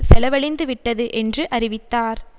செலவழிந்துவிட்டது என்று அறிவித்தார்